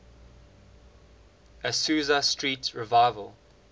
azusa street revival